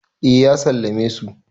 eh ya sallame su